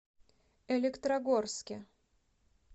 электрогорске